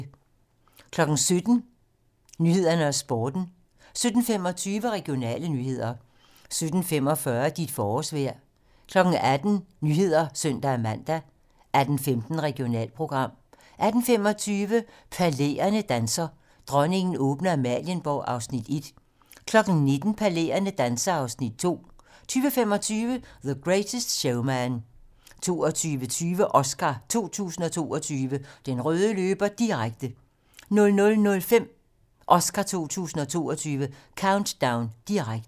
17:00: 18 Nyhederne og Sporten 17:25: Regionale nyheder 17:45: Dit forårsvejr 18:00: 19 Nyhederne (søn-man) 18:15: Regionalprogram 18:25: Palæerne danser - Dronningen åbner Amalienborg (Afs. 1) 19:00: Palæerne danser (Afs. 2) 20:25: The Greatest Showman 22:20: Oscar 2022: Den røde løber - direkte 00:05: Oscar 2022: Countdown - direkte